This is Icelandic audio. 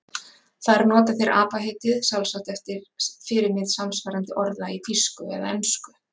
Þar nota þeir apa-heitið, sjálfsagt eftir fyrirmynd samsvarandi orða í þýsku eða ensku.